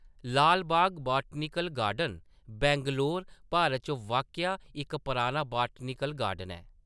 Lalbagh botanical garden Bangalore, Bharat च वाक्या इक पराना बॉटनिकल गार्डन ऐ।